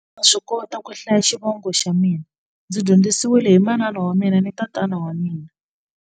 Ndza swi kota ku hlaya xivongo xa mina ndzi dyondzisiwile hi manana wa mina ni tatana wa mina.